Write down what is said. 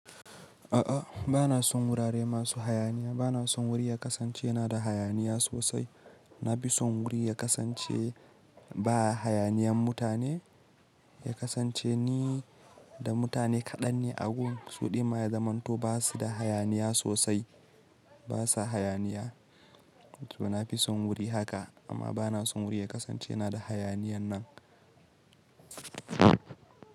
A'a, ba na son wurare masu hayaniya. Ba na son wuri ya kasance na da hayaniya sosai. Na fi son wuri ya kasance ba hayaniyan mutane, ya kasance ni da mutane kaɗan ne a gurin. Suɗi ma ya zamanto ba su da hayaniya sosai, ba sa hayaniya. To na fi son wuri haka, amma ba na son wuri ya kasance na da hayaniyan nan.